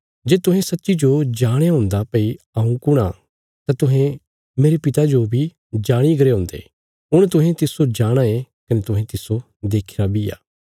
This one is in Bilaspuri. जे तुहें सच्चीजो जाणया हुन्दा भई हऊँ कुण आ तां तुहें मेरे पिता जो बी जाणीगरे हुन्दे हुण तुहें तिस्सो जाणाँ ये कने तुहें तिस्सो देखीरा बी आ